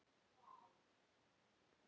Já, ég vona það.